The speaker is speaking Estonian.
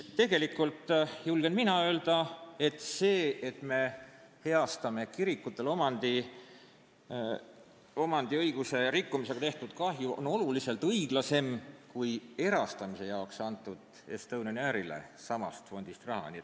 Mina julgen öelda, et see, et me heastame kirikutele omandiõiguse rikkumisega tehtud kahju, on oluliselt õiglasem kui samast fondist erastamise jaoks Estonian Airile antud raha.